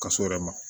Ka s'o yɛrɛ ma